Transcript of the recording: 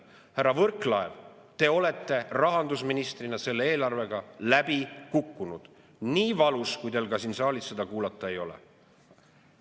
Härra Võrklaev, te olete rahandusministrina selle eelarvega läbi kukkunud, nii valus kui teil seda siin saalis ka kuulda ei ole.